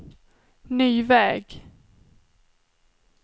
ny väg